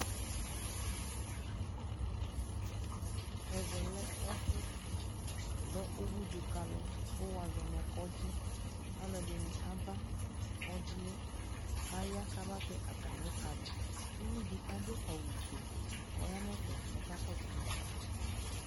Ɛvɛ lɛ ɛfu dʋ uwudu kalʋ kʋ wazɔ nʋ kɔdzi Alʋɔdini aba kɔdzi yɛ kʋ aya kabatɛ atami kadi